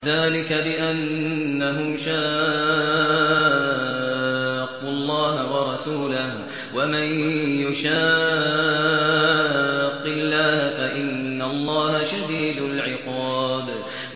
ذَٰلِكَ بِأَنَّهُمْ شَاقُّوا اللَّهَ وَرَسُولَهُ ۖ وَمَن يُشَاقِّ اللَّهَ فَإِنَّ اللَّهَ شَدِيدُ الْعِقَابِ